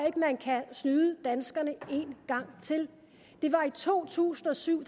ikke man kan snyde danskerne en gang til i to tusind og syv